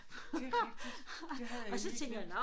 Det rigtigt det havde jeg lige glemt